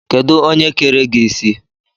Kedụ onye kere gị isi?